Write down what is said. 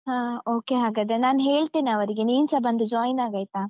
ಹ ಓಕೆ ಹಾಗಾದ್ರೆ, ನಾನ್ ಹೇಳ್ತೇನೆ ಅವರಿಗೆ, ನೀನ್ಸ ಬಂದು join ಆಗ್ ಆಯ್ತಾ?